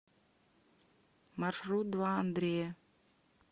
маршрут два андрея